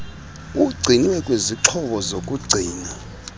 ugcinwe kwizixhobo zokugcina